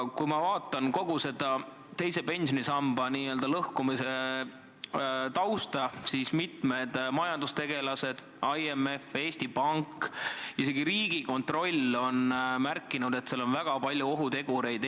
Mis puutub kogu selle teise pensionisamba lõhkumise tausta, siis mitmed majandustegelased, IMF, Eesti Pank, isegi Riigikontroll on märkinud, et seal on väga palju ohutegureid.